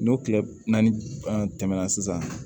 N'o tile naani tɛmɛna sisan